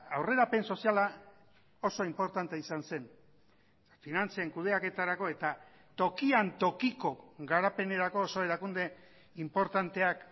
aurrerapen soziala oso inportantea izan zen finantzen kudeaketarako eta tokian tokiko garapenerako oso erakunde inportanteak